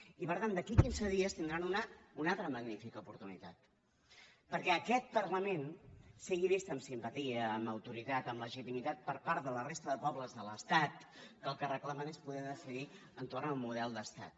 i per tant d’aquí a quinze dies tindran una altra magnífica oportunitat perquè aquest parlament sigui vist amb simpatia amb autoritat amb legitimitat per part de la resta de pobles de l’estat que el que reclamen és poder decidir entorn del model d’estat